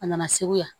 A nana segu yan